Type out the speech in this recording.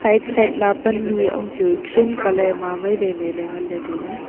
side ma pannu am chu green colour ma mai wai mai le ngan le taile.